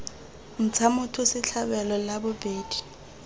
ntsha motho setlhabelo la bobedi